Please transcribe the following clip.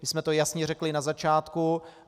My jsme to jasně řekli na začátku.